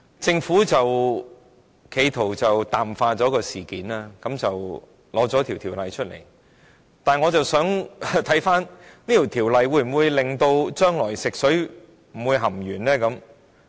政府企圖淡化事件，因而提交《條例草案》，但《條例草案》能否防止將來再出現食水含鉛的情況？